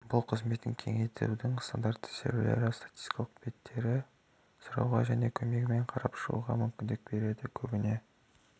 бұл қызметін кеңейтудің стандарты серверлері статикалық беттерін сұрауға және көмегімен қарап шығуға мүмкіндік береді көбіне